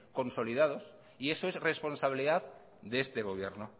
consolidados y eso es responsabilidad de este gobierno